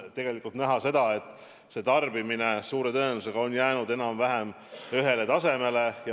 Tegelikult me võime näha, et tarbimine on suure tõenäosusega jäänud enam-vähem samale tasemele.